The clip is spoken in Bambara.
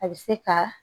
A bɛ se ka